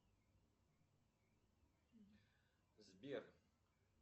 сбер